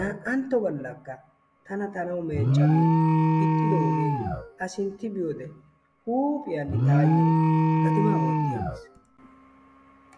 Na"antto galakka tana ta na'awu meecca giin ixxidoogee a sintti biyoode huuphphiyaan tayoo gatimaa wootti aggiis.